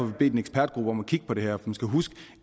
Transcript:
vi bedt en ekspertgruppe om at kigge på det her man skal huske